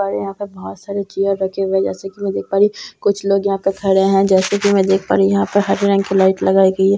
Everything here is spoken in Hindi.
बड़े पर यहाँ पर बहुत सारे चेयर रखे हुए है जैसे की मैं देख पा रही हूँ कुछ लोग यहाँ पर खड़े हैं जैसे की मैं देख पा रही हूँ यहाँ पर हर तरफ की लाइट लगाई गई है।